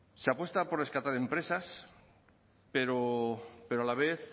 se apuesta por rescatar de empresas pero a la vez